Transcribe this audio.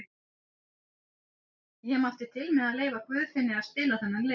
Ég mátti til með að leyfa Guðfinni að spila þennan leik.